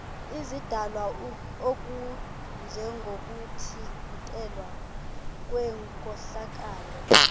izidalwa okunjengokuthintelwa kwenkohlakalo